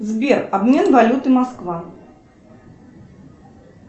сбер обмен валюты москва